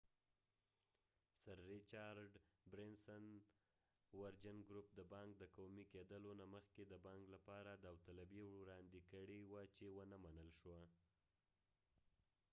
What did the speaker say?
د سر رچرډ برینسنsir richard branson ورجن ګروپ دبانک د قومی کېدلو نه مخکې د بانک لپاره داوطلبي وراندي کړي و چې ونه منل شو